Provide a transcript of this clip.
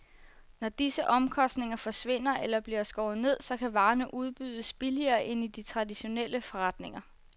Når disse omkostninger forsvinder eller bliver skåret ned, så kan varerne udbydes billigere end i de traditionelle forretninger.